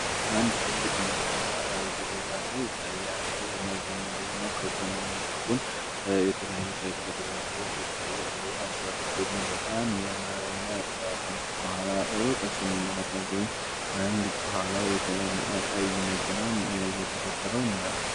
አንድ ትልቅ መኪና እየተጓዘ ይታያል። መኪና ደግሞ ከጎን እና ከጉን የተለያዩ ትልቅ ዛፎዎች ይታያሉ አስባልቱ ደግሞ በጣም ያማረ እና ከኋላ እንድሁም አንድ ከኋላው የቀይ መኪና የተከትለው እናያለን።